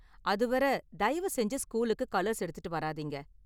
அது வரை, தயவு செஞ்சு ஸ்கூலுக்கு கலர்ஸ் எடுத்துட்டு வராதீங்க.